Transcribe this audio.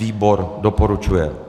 Výbor doporučuje.